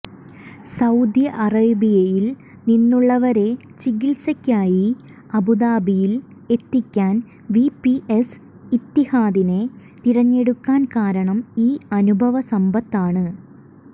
Saudi അറേബ്യയിൽ നിന്നുള്ളവരെ ചികിത്സയ്ക്കായി അബുദാബിയിൽ എത്തിക്കാൻ വിപിഎസ് ഇത്തിഹാദിനെ തിരഞ്ഞെടുക്കാൻ കാരണം ഈ അനുഭവ സമ്പത്താണ്